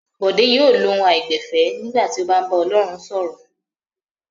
Bọ̀dé yóò lo ohùn àìgbẹ̀fẹ̀ nígbà tí ó bá ń bá Ọlọ́run sọ̀rọ̀.